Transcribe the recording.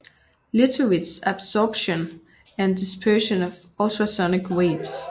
Litovitz Absorption and Dispersion of Ultrasonic Waves